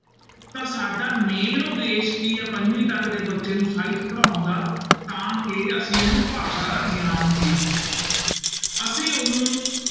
ਤਾਂ ਸਾਡਾ main ਉਦੇਸ਼ ਕੀ ਹੈ ਪੰਜਵੀਂ ਤੱਕ ਦੇ ਬੱਚੇ ਨੂੰ ਸਾਹਿਤ ਪੜ੍ਹਾਉਣ ਦਾ, ਤਾਂ ਕਿ ਅਸੀਂ ਉਹਨੂੰ ਭਾਸ਼ਾ ਦਾ ਗਿਆਨ ਦੇ ਸਕੀਏ ਅਸੀਂ ਉਹਨੂੰ